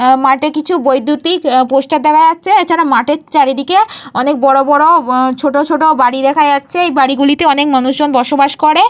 আ মাঠে কিছু বৈদ্যুতিক আ পোস্টার দেখা যাচ্ছে। এছাড়া মাঠের চারিদিকে অনেক বড় বড় ছোট ছোট বাড়ি দেখা যাচ্ছে। এই বাড়িগুলিতে মানুষজন বসবাস করে।